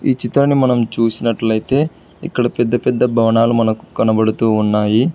ఈ చిత్రాన్ని మనం చుసినట్లయితే ఇక్కడ పెద్ద పెద్ద భవనాలు మనకు కనబడుతూ ఉన్నాయి.